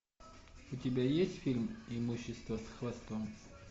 у тебя есть фильм имущество с хвостом